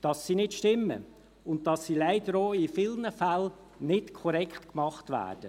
dass sie nicht stimmen und dass sie leider auch in vielen Fällen nicht korrekt vorgenommen werden.